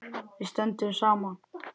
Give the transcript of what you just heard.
Við stöndum saman.